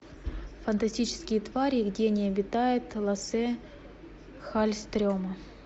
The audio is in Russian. фантастические твари и где они обитают лассе халльстрема